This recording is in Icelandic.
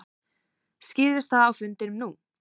Skýrðist það á fundinum nú?